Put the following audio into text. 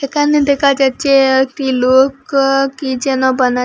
একানে দেকা যাচ্চে আ একটি লোক আ কি যেন বানা--